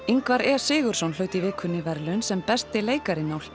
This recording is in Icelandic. Ingvar e Sigurðsson hlaut í vikunni verðlaun sem besti leikarinn á